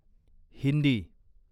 Hindi